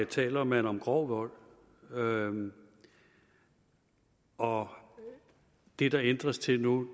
taler man om grov vold og og det det ændres til nu